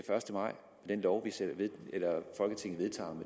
første maj ved